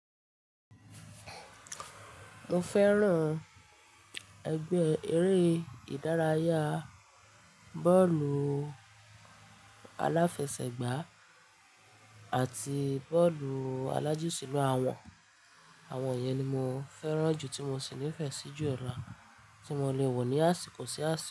Mo fẹ́ràn ẹgbẹ́ eré ìdárayá bọ́ọ̀lù aláfẹsẹ̀gbá àti bọ́ọ̀lù alájùṣílù. Àwọn, àwọn yẹn ni mo fẹ́ràn jù tí mo sì nífẹ̀ẹ́ sí jù lo tí mo lè wò ní àsìkò sí àsìkò.